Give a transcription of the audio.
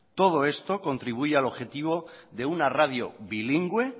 todo esto contribuye al objetivo de una radio bilingüe